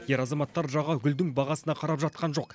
ер азаматтар жағы гүлдің бағасына қарап жатқан жоқ